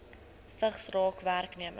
vigs raak werknemers